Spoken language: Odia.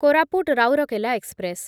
କୋରାପୁଟ ରାଉରକେଲା ଏକ୍ସପ୍ରେସ୍